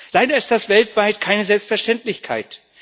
Leider ist das weltweit keine Selbstverständlichkeit.